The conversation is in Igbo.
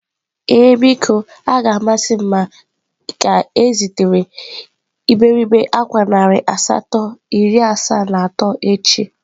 Ee biko, a ga m amasị m ka ezitere iberibe akwa narị asatọ iri asaa na atọ echi.